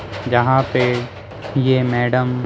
यहाँ पे ये मैडम--